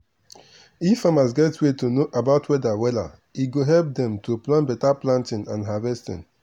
if farmers get way to know about weather wella e go help dem to plan beta planting and harvesting.